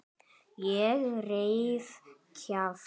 Ég reif kjaft.